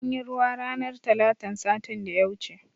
Anyi ruwa ranar talatan satin da ya wuce